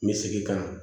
Me segin ka na